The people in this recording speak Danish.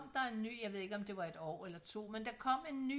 der en ny jeg ved ikke om det var et år eller to men så kom der en ny